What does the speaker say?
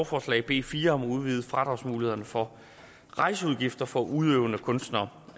forslag b fire om at udvide fradragsmulighederne for rejseudgifter for udøvende kunstnere